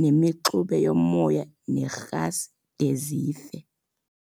nemixube yomoya nerhasi de zife.